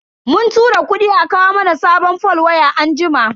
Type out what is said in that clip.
Mun tura kudi a kawo mana sabon fol waya anjima.